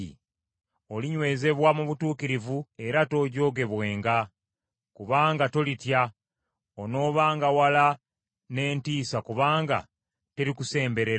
Olinywezebwa mu butuukirivu era toojoogebwenga, kubanga tolitya, onoobanga wala n’entiisa kubanga terikusemberera.